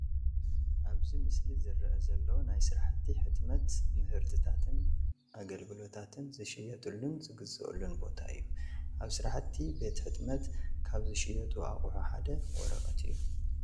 ኣብዚ ምስሊ ዝረአ ዘሎ ናይ ስራሕቲ ሕትመት ምህርትታን ኣገልግሎታትን ዝሽየጠሉን ዝግዘአሉን ቦታ እዩ፡፡ ኣብ ስራሕቲ ቤት ሕትመት ካብ ዝሽየጡ ኣቕሑ ሓደ ወረቐት እዩ፡፡